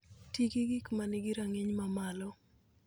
Ti gi gik ma nigi rang'iny mamalo.